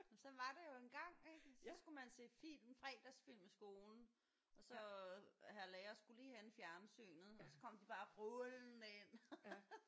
Men sådan var det jo engang ik så skulle man se film fredagsfilm i skolen og så hr lærer skulle lige hente fjernsynet og så kom de bare rullende ind